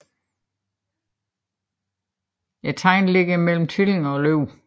Tegnet ligger mellem Tvillingerne og Løven